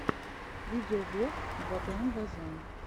видеоблог ваграм вазян